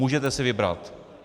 Můžete si vybrat.